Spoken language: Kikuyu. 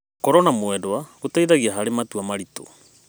Gũkorwo na mwendwa gũteithagia harĩ matua maritũ.